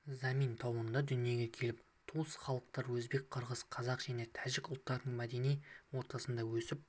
замин тауында дүниеге келіп туыс халықтар өзбек қырғыз қазақ және тәжік ұлттарының мәдени ортасында өсіп